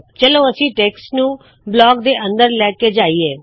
ਚਲੋ ਅਸੀ ਟੇਕਸਟ ਨੂੰ ਬਲਾਕ ਦੇ ਅੰਦਰ ਲੈ ਕੇ ਜਾਇਏ